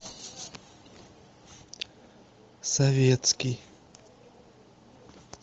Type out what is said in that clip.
советский